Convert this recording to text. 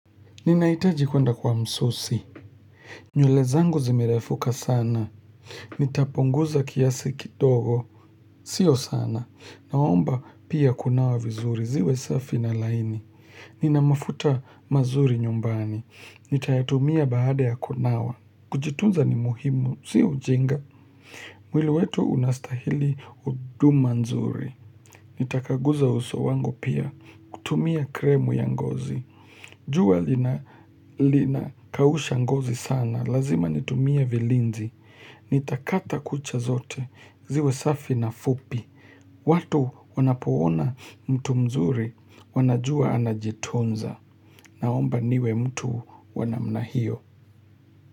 Ninahitaji kwenda kwa msusi. Nywele zangu zimerefuka sana. Nitapunguza kiasi kidogo. Sio sana. Naomba pia kunawa vizuri. Ziwe safi na laini. Nina mafuta mazuri nyumbani. Nitayatumia baada ya kunawa. Kujitunza ni muhimu. Sio ujinga. Mwili wetu unastahili huduma nzuri. Nitakaguza uso wangu pia. Kutumia kremu ya ngozi. Jua lina kausha ngozi sana, lazima nitumie vilinzi, nitakata kucha zote, ziwe safi na fupi, watu wanapoona mtu mzuri, wanajua anajitunza, naomba niwe mtu wa namna hio.